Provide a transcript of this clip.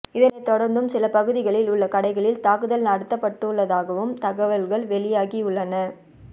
இதனை தொடர்ந்தும் சில பகுதிகளில் உள்ள கடைகளில் தாக்குதல் நடத்தப்பட்டுள்ளதாகவும் தகவல்கள் வெளியாகியுள்ளன